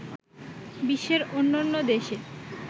বিশ্বের অন্যান্য দেশে